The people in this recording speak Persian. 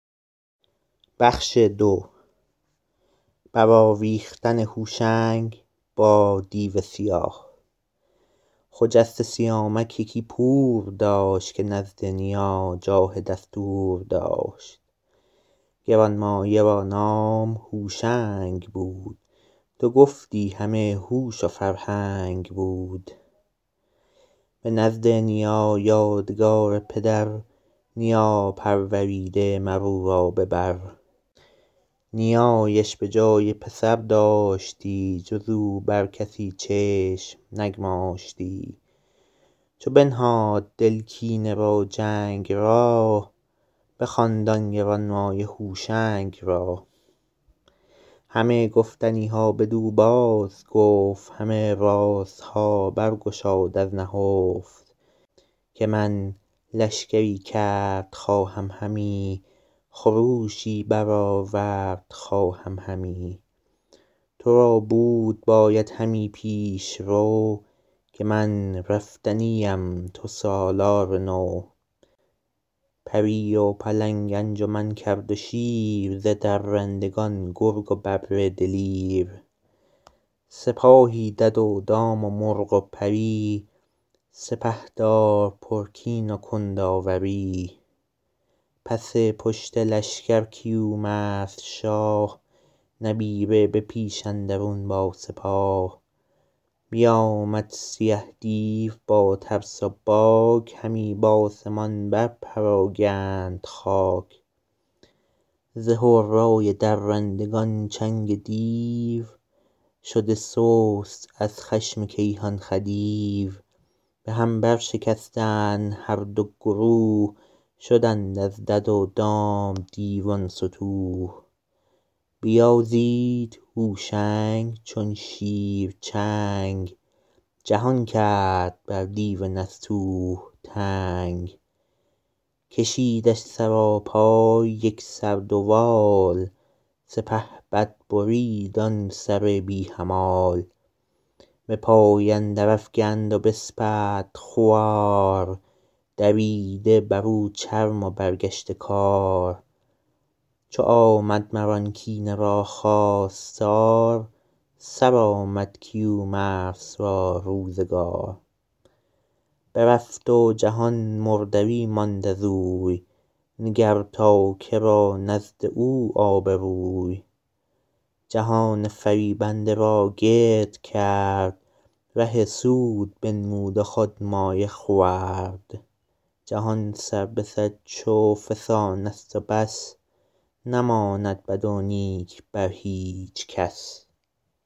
خجسته سیامک یکی پور داشت که نزد نیا جاه دستور داشت گرانمایه را نام هوشنگ بود تو گفتی همه هوش و فرهنگ بود به نزد نیا یادگار پدر نیا پروریده مر او را به بر نیایش به جای پسر داشتی جز او بر کسی چشم نگماشتی چو بنهاد دل کینه و جنگ را بخواند آن گرانمایه هوشنگ را همه گفتنی ها بدو بازگفت همه رازها بر گشاد از نهفت که من لشکری کرد خواهم همی خروشی برآورد خواهم همی تو را بود باید همی پیشرو که من رفتنی ام تو سالار نو پری و پلنگ انجمن کرد و شیر ز درندگان گرگ و ببر دلیر سپاهی دد و دام و مرغ و پری سپهدار پرکین و کنداوری پس پشت لشکر کیومرث شاه نبیره به پیش اندرون با سپاه بیامد سیه دیو با ترس و باک همی بآسمان بر پراگند خاک ز هرای درندگان چنگ دیو شده سست از خشم کیهان خدیو به هم برشکستند هر دو گروه شدند از دد و دام دیوان ستوه بیازید هوشنگ چون شیر چنگ جهان کرد بر دیو نستوه تنگ کشیدش سراپای یک سر دوال سپهبد برید آن سر بی همال به پای اندر افگند و بسپرد خوار دریده بر او چرم و برگشته کار چو آمد مر آن کینه را خواستار سرآمد کیومرث را روزگار برفت و جهان مردری ماند ازوی نگر تا که را نزد او آبروی جهان فریبنده را گرد کرد ره سود بنمود و خود مایه خورد جهان سر به سر چو فسانست و بس نماند بد و نیک بر هیچ کس